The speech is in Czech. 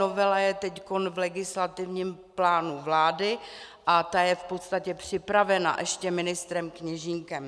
Novela je teď v legislativním plánu vlády a ta je v podstatě připravena ještě ministrem Kněžínkem.